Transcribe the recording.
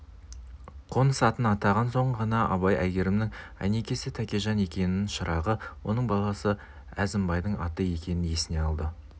қоныс атын атаған соң ғана абай әйгерімнің әйнекесі тәкежан екенін шырағы оның баласы әзімбайдың аты екенін есіне алды